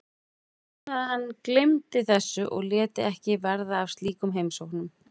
Ég vonaði að hann gleymdi þessu og léti ekki verða af slíkum heimsóknum.